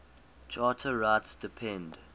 charter rights depend